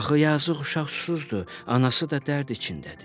Axı yazıq uşaq susuzdur, anası da dərd içindədir.